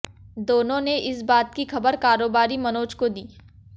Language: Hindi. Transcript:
दोनों ने इस बात की खबर कारोबारी मनोज को दी